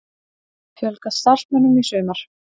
Fjölga starfsmönnum í sumar